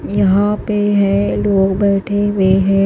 यहां पे है लोग बैठे हुए हैं।